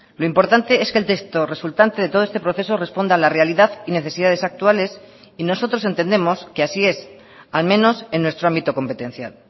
lo importante es que el texto resultante de todo este proceso responda a la realidad y necesidades actuales y nosotros entendemos que así es al menos en nuestro ámbito competencial